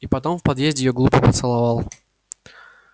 и потом в подъезде её глупо поцеловал